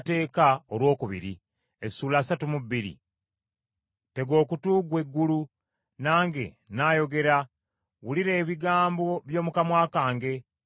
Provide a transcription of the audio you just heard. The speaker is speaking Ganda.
Tega okutu ggwe eggulu, nange nnaayogera, wulira ebigambo by’omu kamwa kange.